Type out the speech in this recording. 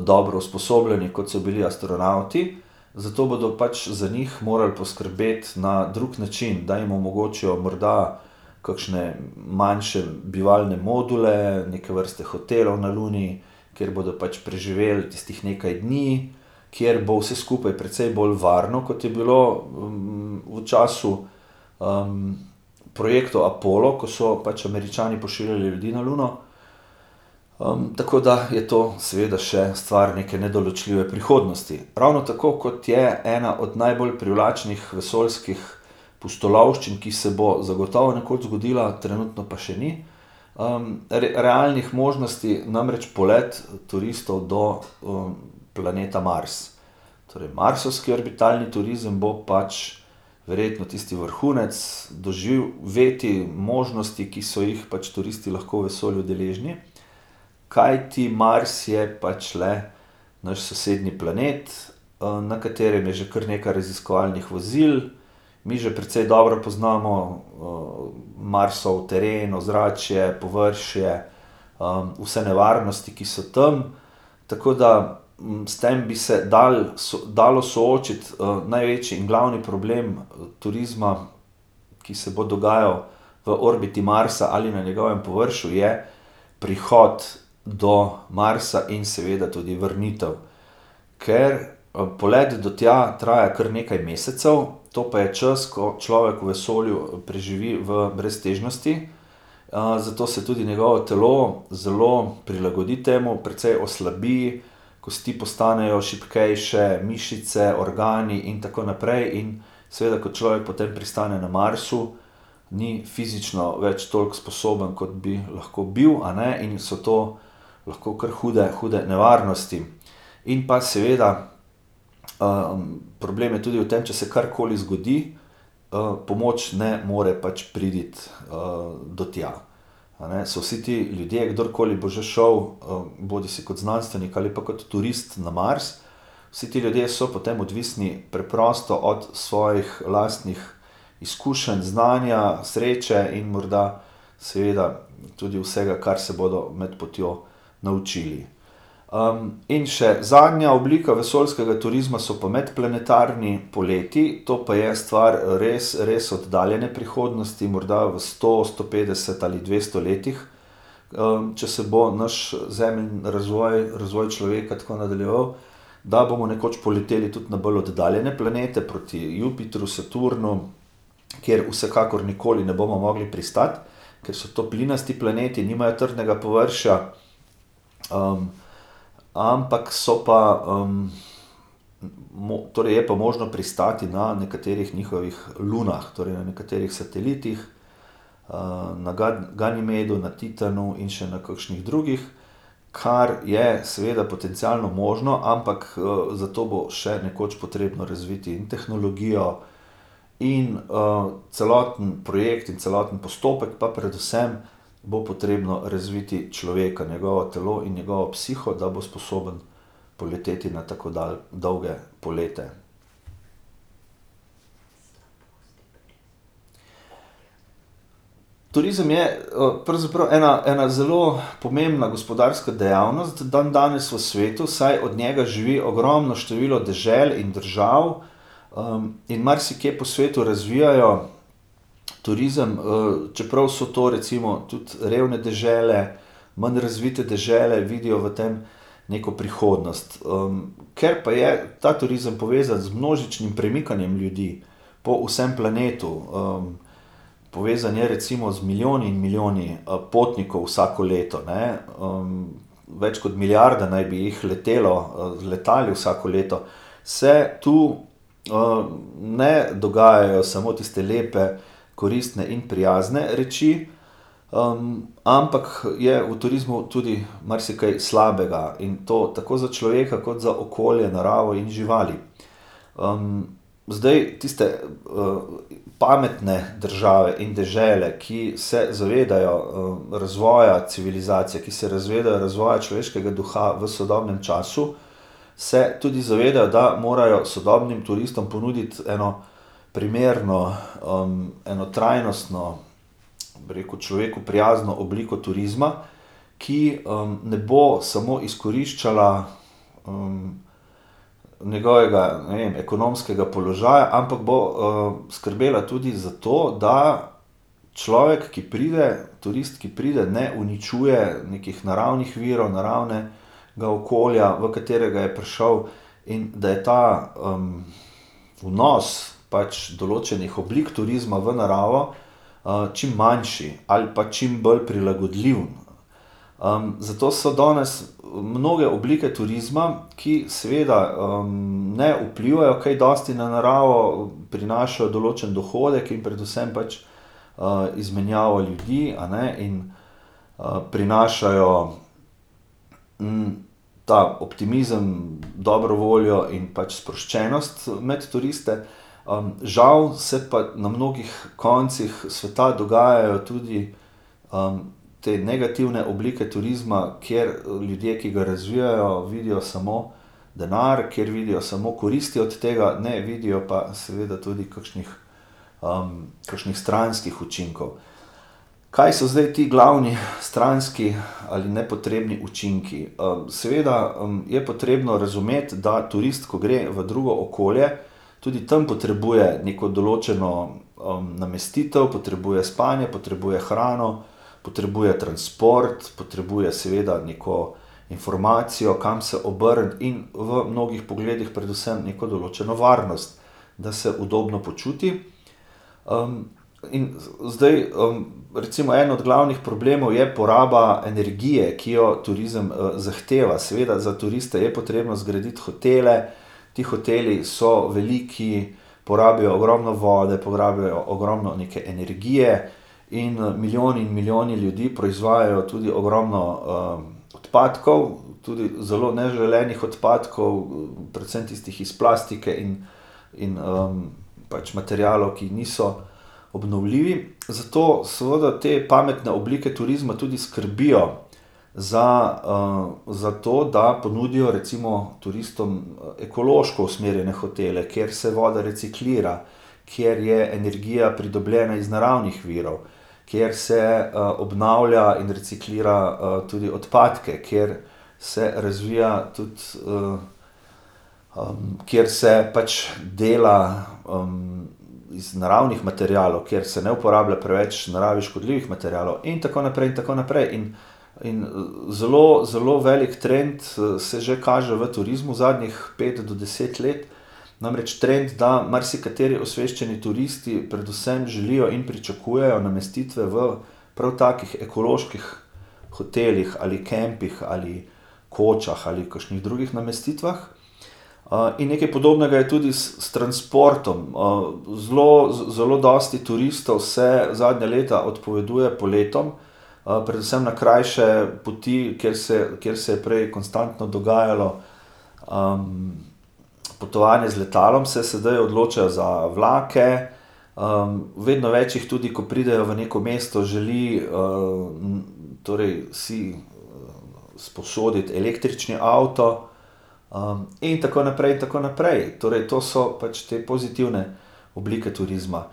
dobro usposobljeni, kot so bili astronavti. Zato bodo pač za njih moral poskrbeti na drug način, da jim omogočijo morda kakšne manjše bivalne module, neke vrste hotelov na Luni, kjer bodo pač preživeli tistih nekaj dni, kjer bo vse skupaj precej bolj varno, kot je bilo v času, projektov Apollo, ko so pač Američani pošiljali ljudi na Luno. tako da je to seveda še stvar neke nedoločljive prihodnosti. Ravno tako, kot je ena od najbolj privlačnih vesoljskih pustolovščin, ki se bo zagotovo nekoč zgodila, trenutno pa še ni, realnih možnosti, namreč polet turistov do, planeta Mars. Torej marsovski orbitalni turizem bo pač verjetno tisti vrhunec doživetij, možnosti, ki so jih pač turisti lahko v vesolju deležni. Kajti Mars je pač le naš sosednji planet, na katerem je že kar nekaj raziskovalnih vozil. Mi že precej dobro poznamo, Marsov teren, ozračje, površje, vse nevarnosti, ki so tam. Tako da, s tem bi se dalo, dalo soočiti, največji in glavni problem turizma, ki se bo dogajal v orbiti Marsa ali na njegovem površju, je prihod do Marsa in seveda tudi vrnitev. Ker, poleti do tja traja kar nekaj mesecev, to pa je čas, ko človek v vesolju preživi v breztežnosti. zato se tudi njegovo telo zelo prilagodi temu. Precej oslabi, kosti postanejo šibkejše, mišice, organi in tako naprej in seveda, ko človek potem pristane na Marsu, ni fizično več toliko sposoben, kot bi lahko bil, a ne, in so to lahko kar hude, hude nevarnosti. In pa seveda, problem je tudi v tem, če se karkoli zgodi, pomoč ne more pač priti, do tja. A ne, so vsi ti ljudje, kdorkoli bo že šel, bodisi kot znanstvenik ali pa kot turist na Mars, vsi ti ljudje so potem odvisni preprosto od svojih lastnih izkušenj, znanja, sreče in morda seveda tudi vsega, kar se bodo med potjo naučili. in še zadnja oblika vesoljskega turizma so pa medplanetarni poleti, to pa je stvar, res, res oddaljene prihodnosti. Morda v sto, sto petdeset ali dvesto letih, če se bo naš razvoj, razvoj človeka tako nadaljeval, da bomo nekoč poleteli tudi na bolj oddaljene planete proti Jupitru, Saturnu, kjer vsekakor nikoli ne bomo mogli pristati, ker so to plinasti planeti, nimajo trdnega površja, ampak so pa, torej je pa možno pristati na nekaterih njihovih lunah, torej na nekaterih satelitih. na Ganimedu na Titanu in še na kakšnih drugih, kar je seveda potencialno možno, ampak, zato bo še nekoč potrebno razviti in tehnologijo in, celoten projekt in celoten postopek pa predvsem bo potrebno razviti človeka, njegovo telo in njegovo psiho, da bo sposoben poleteti na tako dolge polete. Turizem je, pravzaprav ena, ena zelo pomembna gospodarska dejavnost dandanes v svetu, saj od njega živi ogromno število dežel in držav. in marsikje po svetu razvijajo turizem, čeprav so to recimo tudi, revne dežele, manj razvite dežele vidijo v tem neko prihodnost, ker pa je ta turizem povezan z množičnim premikanjem ljudi, po vsem planetu, povezano je recimo z milijoni in milijoni, potnikov vsako leto, ne. več kot milijarda naj bi jih letelo, z letali vsako leto. Se tu, ne dogajajo samo tiste lepe, koristne in prijazne reči, ampak je v turizmu tudi marsikaj slabega in to tako za človeka kot za okolje, naravo in živali. zdaj tiste, pametne države in dežele, ki se zavedajo, razvoja civilizacije, ki se zavedajo razvoja človeškega sveta v sodobnem času, se tudi zavedajo, da morajo sodobnim turistom ponuditi eno primerno, eno trajnostno, bi rekel, človeku prijazno obliko turizma, ki, ne bo samo izkoriščala, njegovega, ne vem, ekonomskega položaja, ampak bo, skrbela tudi za to, da človek, ki pride, turist, ki pride, ne uničuje nekih naravnih virov, naravne ga okolja, v katerega je prišel. In da je ta, vnos pač določenih oblik turizma v naravo, čim manjši ali pa čim bolj prilagodljiv. zato so danes mnoge oblike turizma, ki seveda, ne vplivajo kaj dosti na naravo, prinašajo določen dohodek in predvsem pač, izmenjavo ljudi, a ne, in, prinašajo, ta optimizem, dobro voljo in pač sproščenost med turiste. žal se pa na mnogih koncih sveta dogajajo tudi, te negativne oblike turizma, kjer ljudje, ki ga razvijajo, vidijo samo denar, kjer vidijo samo koristi od tega, ne vidijo pa seveda tudi kakšnih, kakšnih stranskih učinkov. Kaj so zdaj ti glavni stranski ali nepotrebni učinki? seveda, je potrebno razumeti, da turist, ko gre v drugo okolje, tudi tam potrebuje neko določeno, namestitev, potrebuje spanje, potrebuje hrano. Potrebuje transport, potrebuje seveda neko informacijo, kam se obrniti in v mnogih pogledih predvsem neko določeno varnost. Da se udobno počuti, in zdaj, recimo en od glavnih problemov je poraba energije, ki jo turizem, zahteva, seveda za turiste je potrebno zgraditi hotele, ti hoteli so veliki, porabijo ogromno vode, porabijo ogromno neke energije in, milijoni in milijoni ljudi proizvajajo tudi ogromno, odpadkov tudi zelo neželenih odpadkov, predvsem tistih iz plastike in, in, pač materialov, ki niso obnovljivi, zato seveda te pametne oblike turizma tudi skrbijo za, za to, da ponudijo recimo turistom ekološko usmerjene hotele, kjer se voda reciklira, kjer je energija pridobljena iz naravnih virov. Kjer se, obnavlja in reciklira, tudi odpadke. Kjer se razvija tudi, kjer se pač dela, iz naravnih materialov, kjer se ne uporablja preveč naravi škodljivih materialov in tako naprej in tako naprej in, in zelo, zelo velik trend, se že kaže v turizmu zadnjih pet do deset let. Namreč trend, da marsikateri osveščeni turisti predvsem želijo in pričakujejo namestitve v prav takih ekoloških hotelih ali kampih ali kočah ali kakšnih drugih namestitvah. in nekaj podobnega je tudi s, v transportom, zelo, zelo dosti turistov se zadnja leta odpoveduje poletom, predvsem na krajše poti, kjer se, kjer se je prej konstantno dogajalo, potovanje z letalom, se sedaj odločajo za vlake, vedno več jih tudi, ko pridejo v neko veliko mesto, želi, torej si, sposoditi električni avto, in tako naprej in tako naprej, torej to so pač te pozitivne oblike turizma.